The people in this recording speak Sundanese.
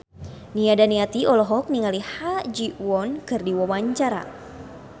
Nia Daniati olohok ningali Ha Ji Won keur diwawancara